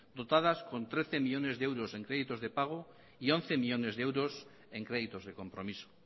dotadas con trece millónes de euros en créditos de pago y once millónes de euros en créditos de compromiso